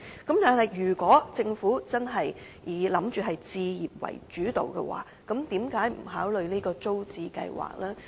但是，如果政府真的以置業為主導，為何不考慮復推租者置其屋計劃呢？